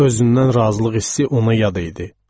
Özündən razılıq hissi ona yad idi.